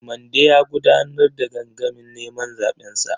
Mande ya gudanar da gangamin neman zaɓensa.